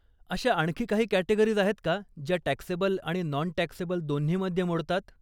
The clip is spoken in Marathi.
अशा आणखी काही कॅटेगरीज आहेत का ज्या टॅक्सेबल आणि नॉन टॅक्सेबल दोन्हीमध्ये मोडतात.